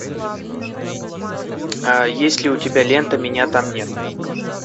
есть ли у тебя лента меня там нет